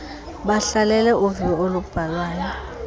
bahlalele uviwo olubhalwayo